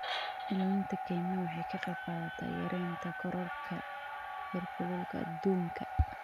Ilaalinta kaymaha waxay ka qaybqaadataa yareynta kororka heerkulka adduunka.